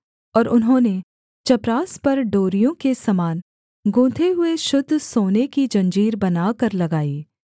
और उन्होंने चपरास पर डोरियों के समान गूँथे हुए शुद्ध सोने की जंजीर बनाकर लगाई